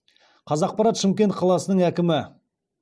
қазақпарат